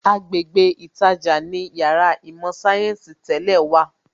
Agbègbè ītajà ni Yàrá īmò sayensi tẹ́lẹ̀ wà